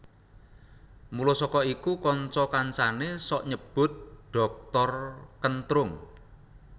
Mula saka iku kanca kancané sok nyebut Dhoktor Kentrung